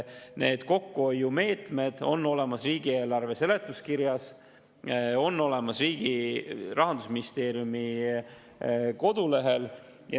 Need kokkuhoiumeetmed on olemas riigieelarve seletuskirjas, on olemas Rahandusministeeriumi kodulehel.